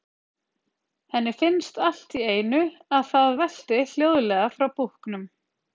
Henni finnst allt í einu að það velti hljóðlega frá búknum.